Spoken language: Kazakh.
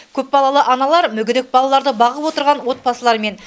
көпбалалы аналар мүгедек балаларды бағып отырған отбасылар мен